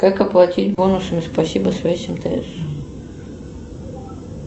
как оплатить бонусами спасибо связь мтс